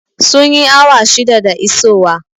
Sun yi awa shida da isowa